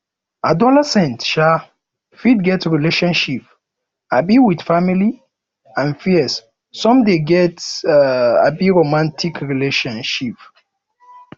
adolescent um fit get relationship um with family and peers some de get um romantic relationship